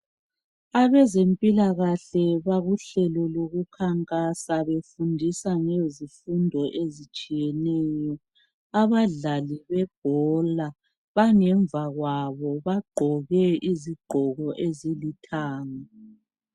Abezempilakahle, bakuhlelo lokukhankasa. Befundisa ngezifundo ezitshiyeneyo. Abadlali bebhola, bangemva kwabo. Bagqoke izigqoko ezilithanga.